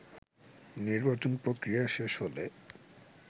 নির্বাচন প্রক্রিয়া শেষ হলে